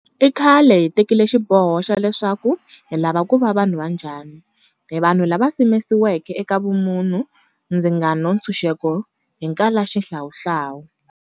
I khale hi tekile xiboho xa leswaku hi lava ku va vanhu va njhani. Hi vanhu lava simekiweke eka vumunhu, ndzingano, ntshuxeko ni nkalaxihlawuhlawu.